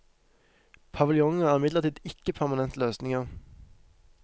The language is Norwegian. Paviljonger er imidlertid ikke permanente løsninger.